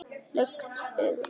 Lukt augu